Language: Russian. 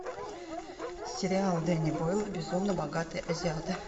сериал дэнни бойла безумно богатые азиаты